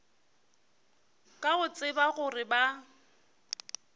ka go tseba gore ba